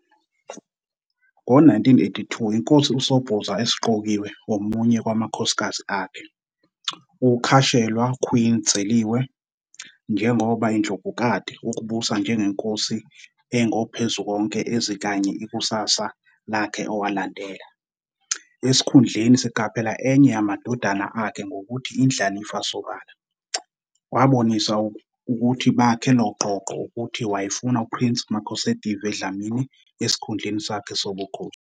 Ngo-1982 inkosi uSobhuza esiqokiwe omunye kwamakhosikazi akhe, ukukhashelwa Queen Dzeliwe, njengoba "Indlovukati" ukubusa njengenkosi eNgophezukonke ezikanye ikusasa lakhe owalandela. Esikhundleni siqaphela enye yamadodana akhe ngokuthi indlalifa sobala, wabonisa ukuthi bakhe "Loqoqo" ukuthi wayefuna Prince Makhosetive Dlamini esikhundleni sakhe sobukhosi.